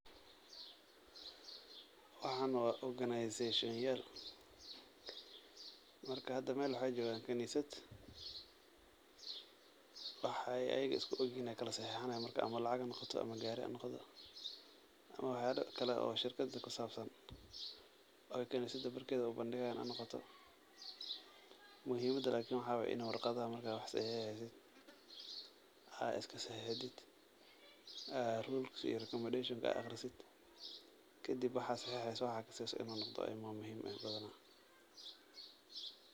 Waxaan waa oganizashonyaal. Marka had meel waxaay joogan kaniisad, waxaay ayiga isku ogihiin ayaa kala saxiixinayaan. Marka ama lacag hanoqoto ama gaari hanoqdo ama waxyaalo kale oo shirkad kusaabsan oo kaniisad barkeedi ay u bandigayaan hanoqoto. Muhiimada lakini waxaa waay inaa warqadaha marka aad wax saxiixeysid aad iskasaxiixidid rules iyo recommendations aad akhrisid. Kadib waxaa saxiixeyso waxa aad ka seynayso inuu noqdo, ayaa muhiim eh badanaa.